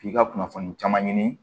K'i ka kunnafoni caman ɲini